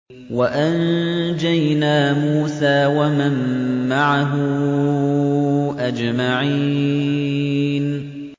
وَأَنجَيْنَا مُوسَىٰ وَمَن مَّعَهُ أَجْمَعِينَ